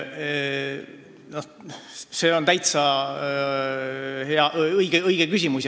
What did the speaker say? See on täitsa õige küsimus.